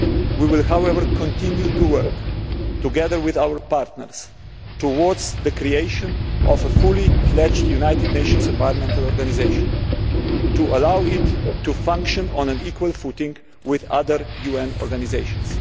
We will, however, continue to work together with our partners towards the creation of a fully fledged United Nations environmental organisation to allow it to function on an equal footing with other UN organisations.